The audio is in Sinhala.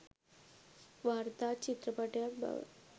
වාර්තා චිත්‍රපටයක් බව